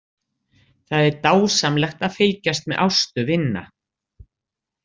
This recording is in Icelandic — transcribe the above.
Það er dásamlegt að fylgjast með Ástu vinna.